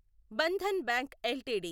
Bandhan bank LTD